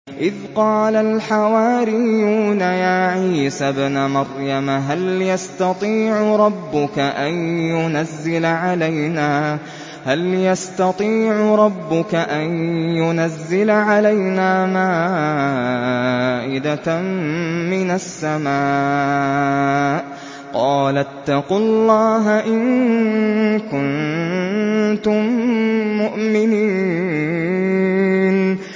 إِذْ قَالَ الْحَوَارِيُّونَ يَا عِيسَى ابْنَ مَرْيَمَ هَلْ يَسْتَطِيعُ رَبُّكَ أَن يُنَزِّلَ عَلَيْنَا مَائِدَةً مِّنَ السَّمَاءِ ۖ قَالَ اتَّقُوا اللَّهَ إِن كُنتُم مُّؤْمِنِينَ